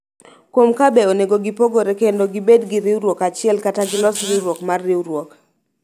kuom ka be onego gipogore kendo gibed gi riwruok achiel kata gilos riwruok mar riwruok.